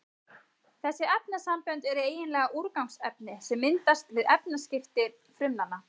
Þessi efnasambönd eru eiginlega úrgangsefni sem myndast við efnaskipti frumnanna.